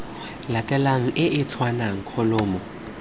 latelanang e e tshwanang kholomo